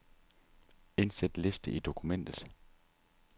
Indsæt liste i dokumentet.